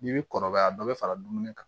N'i bi kɔrɔbaya dɔ bi fara dumuni kan